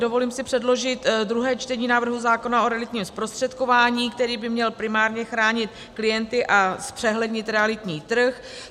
Dovolím si předložit druhé čtení návrhu zákona o realitním zprostředkování, který by měl primárně chránit klienty a zpřehlednit realitní trh.